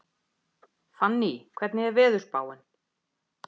Fanný, hvernig er veðurspáin?